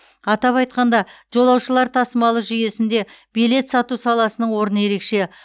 атап айтқанда жолаушылар тасымалы жүйесінде билет сату саласының орны ерекше